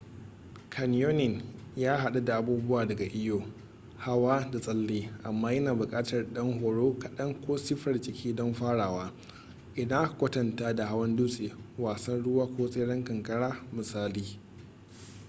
canyoning ya haɗu da abubuwa daga iyo hawa da tsalle - amma yana buƙatar ɗan horo kaɗan ko siffar jiki don farawa idan aka kwatanta da hawan dutse wasan ruwa ko tseren kankara misali